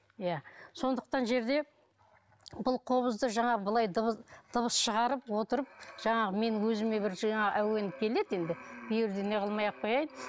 иә сондықтан жерде бұл қобызды жаңағы былай дыбыс шығарып отырып жаңағы мен өзіме бір жаңа әуен келеді енді бұл жерде не қылмай ақ қояйын